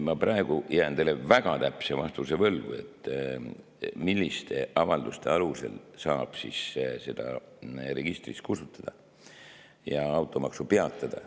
Ma praegu jään teile väga täpse vastuse võlgu, milliste avalduste alusel saab seda registrist kustutada ja automaksu peatada.